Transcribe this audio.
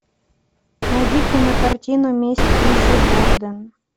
найди кинокартину месть лиззи борден